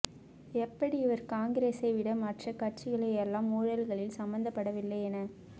எப்படி இவர் காங்கிரசை விட மற்ர கட்சிகளெல்லாம் ஊழல்களில் சம்பந்தப்படவில்லையென